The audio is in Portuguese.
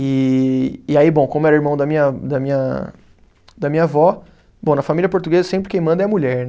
E e aí bom, como era irmão da minha, da minha, da minha avó, bom na família portuguesa sempre quem manda é a mulher.